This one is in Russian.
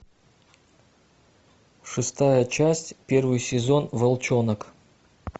шестая часть первый сезон волчонок